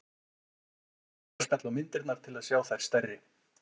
Hægt er að smella á myndirnar til að sjá þær stærri.